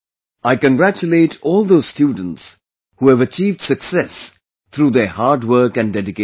I congratulate all those students who have achieved success through their hard work and dedication